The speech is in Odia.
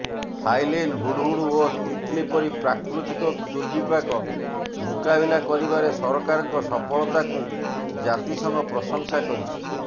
ଫାଇଲିନ ହୁଡହୁଡ ଓ ତିତଲି ପରି ପ୍ରାକୃତିକ ଦୁର୍ବିପାକ ମୁକାବିଲା କରିବାରେ ସରକାରଙ୍କ ସଫଳତାକୁ ଜାତିସଂଘ ପ୍ରଶଂସା କରିଛି